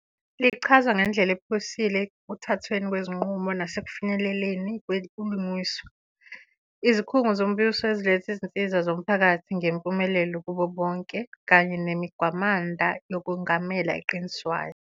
lichaza ngendlela ephusile ekuthathweni kwezinqumo nasekufinyeleleni kwebulungiswa, izikhungo zombuso eziletha izinsiza zomphakathi ngempumelelo kubo bonke, kanye nemigwamanda yokwengamela eqiniswayo.